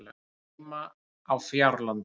Hann á heima á Fjárlandi.